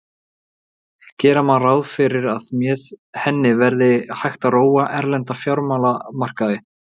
Gera má ráð fyrir að með henni verði hægt að róa erlenda fjármálamarkaði.